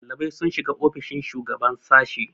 ɗalibai sun shiga ofishin shugaban sashe